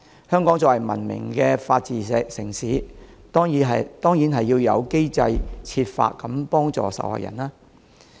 香港作為文明的法治城市，當然要有機制設法幫助受害人。